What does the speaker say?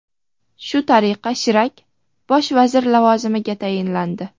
Shu tariqa Shirak bosh vazir lavozimiga tayinlandi.